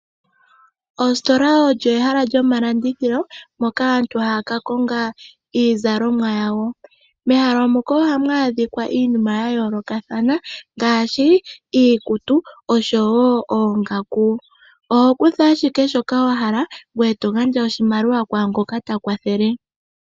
Ositola olyo ehala lyomalandithililo moka aantu haya ka konga iizalomwa yawo. Mehala moka ohamu adhika iimina yayoolokathana ngaashi iikutu osho wo oongaku. Oho kutha ashike shoka wahala ngoye togandja oshimaliwa kwaangoka takwathele.